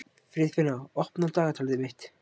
Friðfinna, opnaðu dagatalið mitt.